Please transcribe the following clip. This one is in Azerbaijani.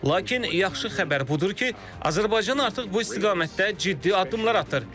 Lakin yaxşı xəbər budur ki, Azərbaycan artıq bu istiqamətdə ciddi addımlar atır.